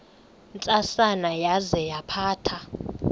ntsasana yaza yaphatha